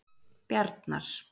Bjarnar